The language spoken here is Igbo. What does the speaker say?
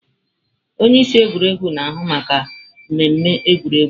Onye isi egwuregwu na-ahụ maka mmemme egwuregwu.